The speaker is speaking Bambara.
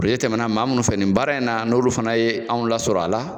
tɛmɛna maa munnu fɛ nin baara in na n'olu fana ye anw lasɔrɔ a la.